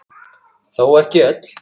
Þó ekki öll.